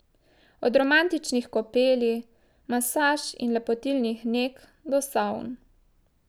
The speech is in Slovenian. Od romantičnih kopeli, masaž in lepotilnih neg, do savn.